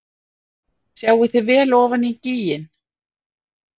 Sjáið þið vel ofan í gíginn?